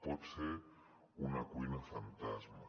pot ser una cuina fantasma